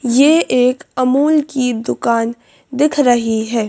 ये एक अमूल की दुकानदिख रही है।